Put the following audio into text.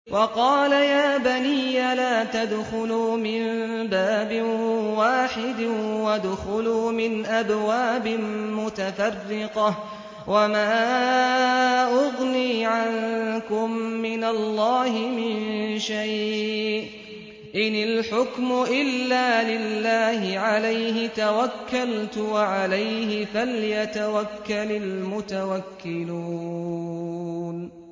وَقَالَ يَا بَنِيَّ لَا تَدْخُلُوا مِن بَابٍ وَاحِدٍ وَادْخُلُوا مِنْ أَبْوَابٍ مُّتَفَرِّقَةٍ ۖ وَمَا أُغْنِي عَنكُم مِّنَ اللَّهِ مِن شَيْءٍ ۖ إِنِ الْحُكْمُ إِلَّا لِلَّهِ ۖ عَلَيْهِ تَوَكَّلْتُ ۖ وَعَلَيْهِ فَلْيَتَوَكَّلِ الْمُتَوَكِّلُونَ